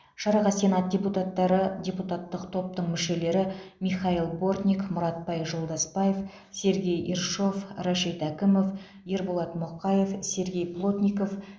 шараға сенат депутаттары депутаттық топтың мүшелері михаил бортник мұратбай жолдасбаев сергей ершов рашит әкімов ерболат мұқаев сергей плотников